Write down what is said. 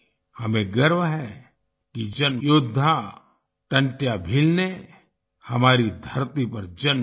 हमें गर्व है कि जिन योद्धा टंट्या भील ने हमारी धरती पर जन्म लिया